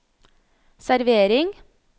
servering